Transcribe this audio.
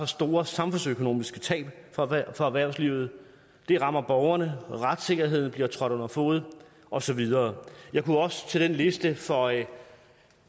store samfundsøkonomiske tab for erhvervslivet det rammer borgerne og retssikkerheden bliver trådt under fode og så videre jeg kunne også til den liste føje